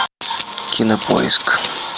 кинопоиск